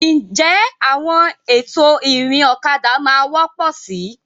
Ǹjẹ́ àwọn ètò ìrìn ọ̀kadà máa wọ́pọ̀ síi?